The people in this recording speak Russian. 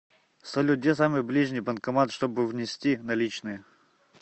салют где самый ближний банкомат чтобы внести наличные